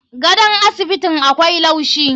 Gadon asibitin akwai laushi.